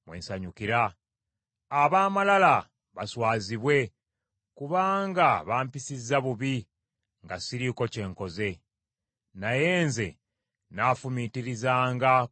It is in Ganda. Ab’amalala baswazibwe, kubanga bampisizza bubi nga siriiko kye nkoze. Naye nze nnaafumiitirizanga ku biragiro byo.